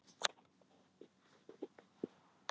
Evrópsk hlutabréf hækkuðu á árinu